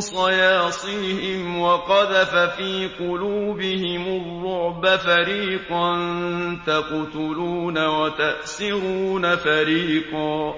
صَيَاصِيهِمْ وَقَذَفَ فِي قُلُوبِهِمُ الرُّعْبَ فَرِيقًا تَقْتُلُونَ وَتَأْسِرُونَ فَرِيقًا